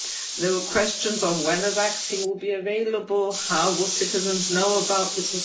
There were questions on when a vaccine will be available, how will citizens know about this.